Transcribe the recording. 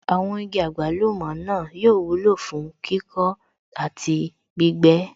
Àwọn igi àgbálùmọ̀ náà yóò wúlò fún kíkọ́ àti gbígbẹ́